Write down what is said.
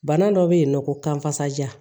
Bana dɔ bɛ yen nɔ ko kan kasaja